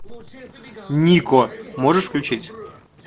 нико можешь включить